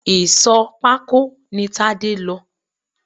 Ìsò pako ní Tade lọ